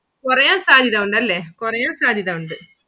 കുറയാൻ സാധ്യത ഉണ്ടല്ലേ കുറയാൻ സാധ്യത ഉണ്ട്.